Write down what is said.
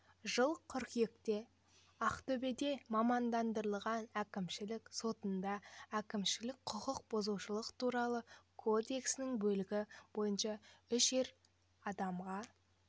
жылы қыркүйекте ақтөбеде мамандандырылған әкімшілік сотында әкімшілік құқық бұзушылық туралы кодексінің бөлігі бойынша үш ер адамға